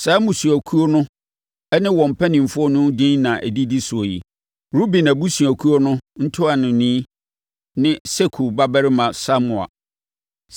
Saa mmusuakuo no ne wɔn mpanimfoɔ no edin na ɛdidi so yi: Ruben abusuakuo no ntuanoni ne Sakur babarima Samua;